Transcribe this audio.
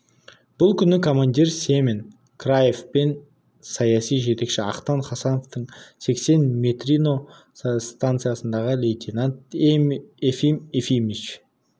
бұл күні командир семен краев пен саяси жетекші ақтан хасановтың сексен матренино станциясындағы лейтенант ефим ефимович